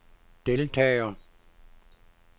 deltager